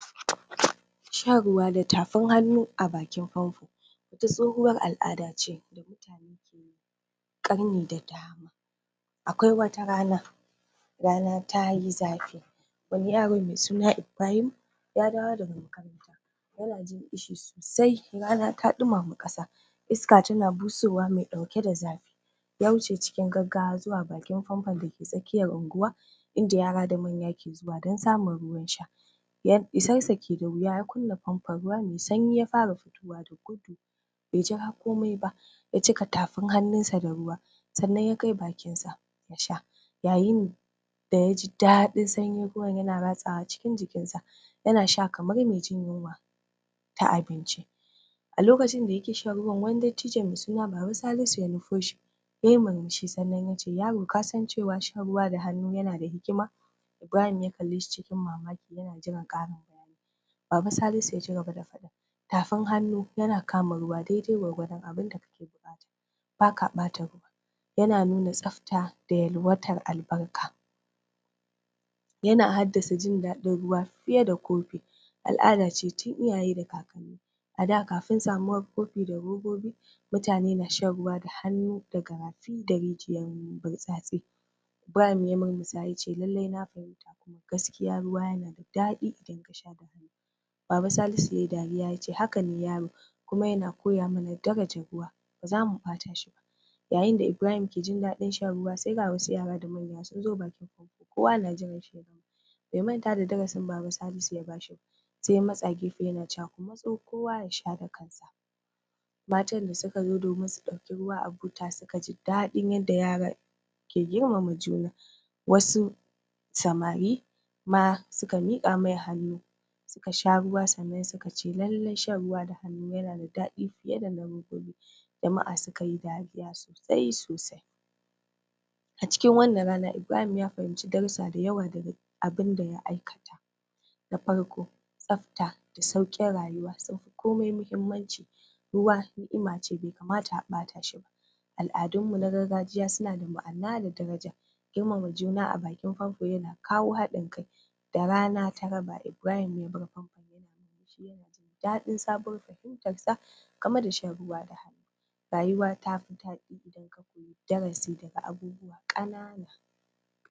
Shan ruwa da tafin hannu a bakin famfo wata tsohuwar al'ada ce in audiable ƙarni da dama akwai wata rana rana tayi zafi wani yaro mai suna Ibrahim ya dawo daga makaranta yana jin kishi sosai rana ta dumama ƙasa iska tana busowa mai ɗauke da zafi ya wuce cikin gaggawa zuwa bakin famfon dake tsakiyar unguwa inda yara da manya ke zuwa dan samun ruwan sha yaf isassa ke da wuya ya kunna famfo ruwa mai sanyi ya fara fitowa da gudu bai jira komai ba ya cika tafin hannu sa da ruwa sannan ya kai bakin sa ya sha yayin da yaji daɗin sanyin ruwan na ratsawa cikin jikin sa yana sha kamar mai jin yinwa ta abinci a lokacin da yake shan ruwa wani dattijo mai sunan Baba Salisu ya nufo shi yayi murmushi sannan yace yaro kasan cewa shan ruwa da hannu yana da hikima Ibrahim ya kalle shi cikin mamaki yana jiran ƙarin Baba Salisu ya cigaba da faɗi tafin hannu yana kama ruwa daidai gwargwadon abinda kake buƙata baka ɓata ruwa yana nuna tsafta da yalwatar albarka yana haddasa jin daɗin ruwa fiye da kofi al'ada ce tun iyaye da kakanni ada kafin samuwar kofi da robobi mutane na shan ruwa da hannu daga rafi da rijiyar burtsatse Ibrahim ya murmusa yace lallai na fahimta lallai ruwa na da daɗi idan kasha da hannu Baba Salisu yayi dariya yace hakane kuma yana koya mana daraja ruwa ba zamu ɓata shi ba yayin da Ibrahim yake jin daɗi shan ruwa sai ga wasu yara da manya sunzo bakin (in audible) kowa na jiran shan ruwa bai manta da darasi da Baba Salisu ya bashi ba sai ya matsa gefe yana cewa ku matso kowa yasha da kansa matan da su kazo domin su ɗebi ruwa a buta suka ji daɗin yadda yaran ke girma ma juna wasu samari ma suka miƙa masa hannu suka sha ruwa sannan suka ce lallai shan ruwa da hannu yana da dadi fiye dana robobi jama'a suka yi dariya sosai sosai a cikin wannan rana Ibrahim ya fahimci darusa da yawa abinda ya aikata da farko tsafta da sauƙin rayuwa sunfi komai mahimmanci ruwa ni'ima ce da mai kamata a ɓata shi ba al'adun mu na gargajiya suna da ma'ana da daraja girma ma juna a bakin famfo yana kawo haɗin ka da rana ta raba Ibrahim ya bar famfo daɗin sabuwar fahimtar sa game da shan ruwa da hannu rayuwa tafi daɗi in audible darasi daga abubuwa ƙanana